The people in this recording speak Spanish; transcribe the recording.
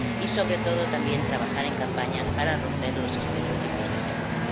y, sobre todo, también, trabajar en campañas para romper los estereotipos de género.